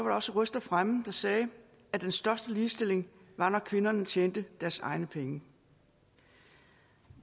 også røster fremme der sagde at den største ligestilling var når kvinderne tjente deres egne penge